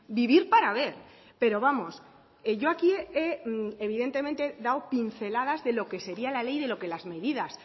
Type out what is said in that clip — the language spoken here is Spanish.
vivir para ver pero vamos yo aquí evidentemente he dado pinceladas de lo que sería la ley de lo que las medidas